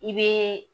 I be